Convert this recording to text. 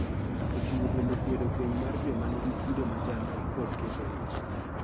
Oting�o bende kwedo keny mar joma nigi kido machalre kod keto ich.